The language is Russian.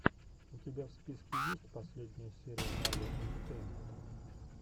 у тебя в списке есть последняя серия марвел энтетейнмента